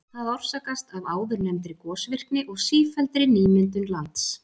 Það orsakast af áðurnefndri gosvirkni og sífelldri nýmyndun lands.